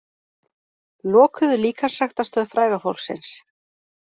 Lokuðu líkamsræktarstöð fræga fólksins